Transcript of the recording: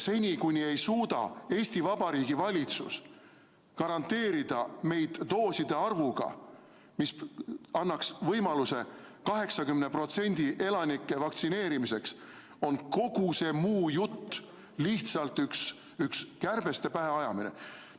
Seni, kuni Eesti Vabariigi valitsus ei suuda garanteerida meile sellist hulka doose, mis annaks võimaluse elanikest 80% vaktsineerida, on kogu see muu jutt lihtsalt üks kärbeste pähe ajamine.